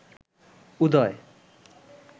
উদয়